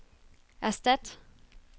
erstat